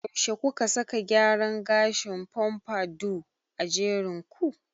Yaushe kuka saka gyaran gashin "pompadour" a jerin ku?